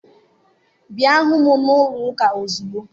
Bịa hụ m n'ụlọụka ozugbo!